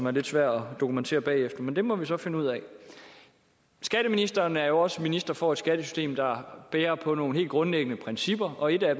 er lidt svært at dokumentere bagefter men det må vi så finde ud af skatteministeren er jo også minister for et skattesystem der bærer på nogle helt grundlæggende principper og et af